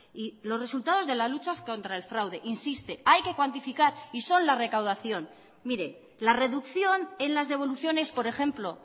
y los resultados de la lucha contra el fraude insiste hay que cuantificar y son la recaudación mire la reducción en las devoluciones por ejemplo